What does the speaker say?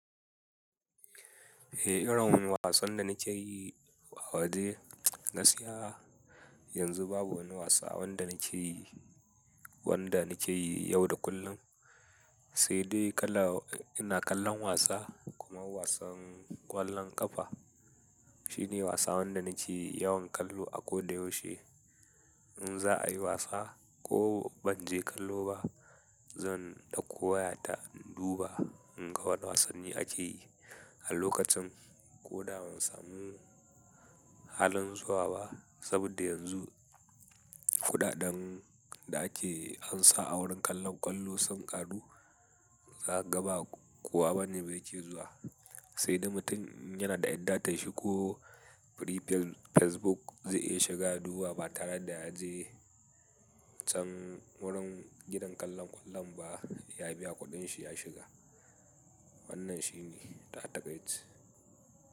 Eh, irin wasan da na ke yi a waje ga skiya. Yanzu babu wani wasa wanda na ke yi, wanda na ke yi yau da kullum. Sai dai kala-- ina kallon wasa kuma wasan ƙwallon ƙafa shine wasa wanda na ke yawan kallo a ko da yaushe. In za a yi wasa ko ban je kallo ba, zan ɗauko wayata in duba in ga wane wasanni ake yi a lokacin ko da ban samu halin zuwa ba. Saboda yanzu kuɗaɗen da ake ansa a wurin kallon kwallon sun ƙaru, za ka ga ba kowa bane yake zuwa. Sai dai mutum inyanada 'yar datar shiko free facebook zai iya shigaya duba ba tare da ya je can wurin gidan kallon kwallon ba, ya biya kuɗin shi ya shiga. Wannan shi ne tatakaice.